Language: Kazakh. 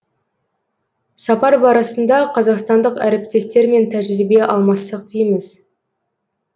сапар барысында қазақстандық әріптестермен тәжірибе алмассақ дейміз